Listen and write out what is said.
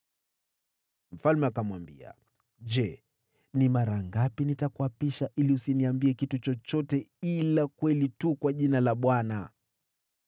Mfalme akamwambia, “Je, ni mara ngapi nitakuapisha ili usiniambie kitu chochote ila kweli tu kwa jina la Bwana ?”